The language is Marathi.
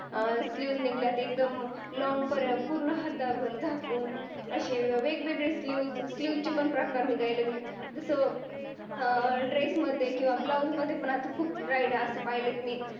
फ्यूज निगल्या अं एकदम लॉंग पर्यंत पूर्ण हातावर झाकून. अशी वेगवेगळी फ्यूज फ्लूजची पण प्रकार निघाला लागले. जस अं ड्रेस मध्ये किंवा ब्लाउज मध्ये असे खूप ब्राईट पाहले की